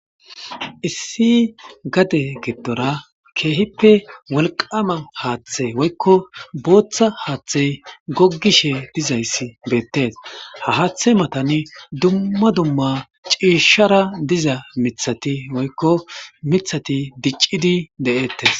Issi gade giddora keehippe wolqaama haathe woykko bootha haathe goggishe dizayssi beettees. Ha haathe matani dumma dumma ciishshara diza mithati woykko mithati diccidi de7ettees.